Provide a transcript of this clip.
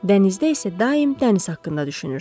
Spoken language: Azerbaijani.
Dənizdə isə daim dəniz haqqında düşünürsən.